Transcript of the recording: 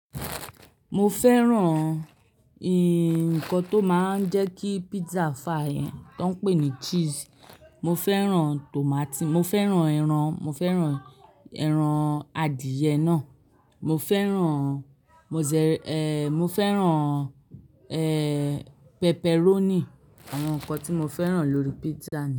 Mo fẹ́ràn nǹkan tó máa ń jẹ́ kí pizza fà yẹn tó ń pè ní cheese. Mo fẹ́ràn tòmátì, mo fẹ́ràn ẹran, mo fẹ́ràn ẹran adìẹ náà, mo fẹ́ràn mo de mo fẹ́ràn, pepperoni. Àwọn nǹkan tí mo fẹ́ràn lórí pizza.